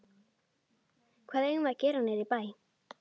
Hvað eigum við að gera niðri í bæ?